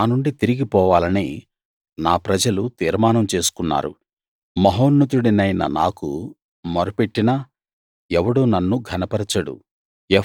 నా నుండి తిరిగిపోవాలని నా ప్రజలు తీర్మానం చేసుకున్నారు మహోన్నతుడినైన నాకు మొర పెట్టినా ఎవడూ నన్ను ఘనపరచడు